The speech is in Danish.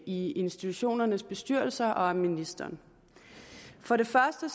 i institutionernes bestyrelser og af ministeren for det første